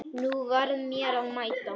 Nú var mér að mæta!